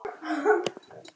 Þýtt þannig